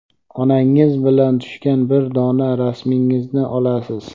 Onangiz bilan tushgan bir dona rasmingizni olasiz.